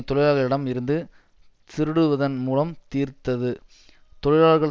தொழிலாளர்களிடம் இருந்து திருடுவதன் மூலம் தீர்த்தது தொழிலாளர்கள்